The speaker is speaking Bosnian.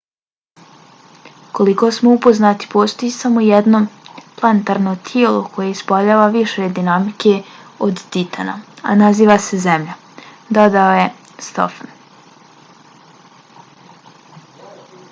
koliko smo upoznati postoji samo jedno planetarno tijelo koje ispoljava više dinamike od titana a naziva se zemlja dodao je stofan